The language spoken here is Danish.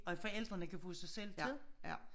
At forældrene kan få sig selv til det